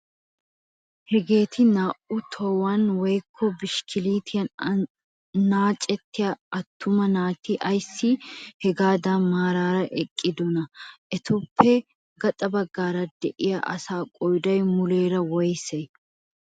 Hageeti naa"u tohuwaan woykko bishikkilitiyaan annacettiyaa attuma naati ayssi hagaadan maarara eqqidonaa? Etappe gaxa baggaara de'iyaa asaa qooday muleera woysee?